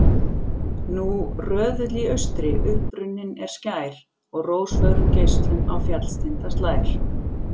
Nú röðull í austri upprunninn er skær, og rósfögrum geislum á fjallstinda slær.